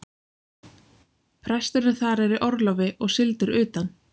Presturinn þar er í orlofi og sigldur utan.